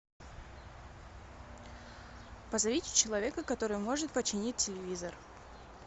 позовите человека который может починить телевизор